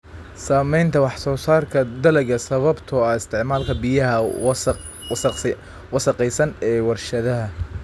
Saamaynta wax-soo-saarka dalagga sababtoo ah isticmaalka biyaha wasakhaysan ee warshadaha.